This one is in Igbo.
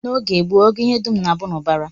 N'oge gboo, ọgụ ihe dum na-abụ n'ubara